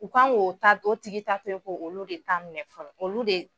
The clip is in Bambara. U kan'o ta to, o tigi ta toyi ko olu de ta minɛ fɔlɔ, olu de.